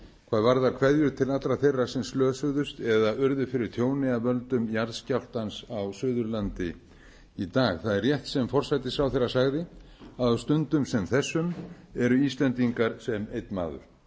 hvað varðar kveðju til allra þeirra sem slösuðust eða urðu fyrir tjóni af völdum jarðskjálftans á suðurlandi í dag það er rétt sem forsætisráðherra sagði að á stundum sem þessum eru íslendingar sem einn maður